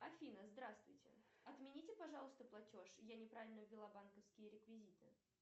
афина здравствуйте отмените пожалуйста платеж я неправильно ввела банковские реквизиты